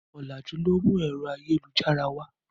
Ọ̀làjú ló mú ẹ̀rọ ayélujára wá.